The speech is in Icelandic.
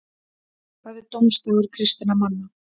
hvað er dómsdagur kristinna manna